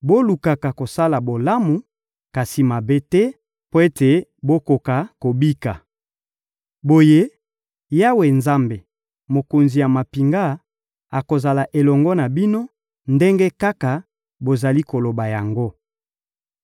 Bolukaka kosala bolamu, kasi mabe te, mpo ete bokoka kobika. Boye, Yawe Nzambe, Mokonzi ya mampinga, akozala elongo na bino, ndenge kaka bozali koloba yango.